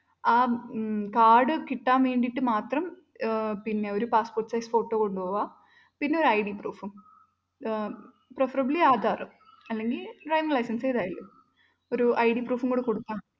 ആ ഉം കാർഡ് കിട്ടാൻ വേണ്ടീട്ട് മാത്രം ഒരു passport size photo കൊണ്ടുപോകുക പിന്നൊരു ID proof ഉം. ഏർ preferably ആധാർ അല്ലെങ്കിൽ driving license എതായലും ഒരു id proof കൂടി കൊടുക്കണം.